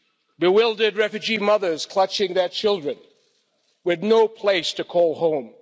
bewildered refugee mothers, clutching their children, with no place to call home